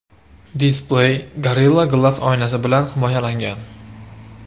Displey Gorilla Glass oynasi bilan himoyalangan.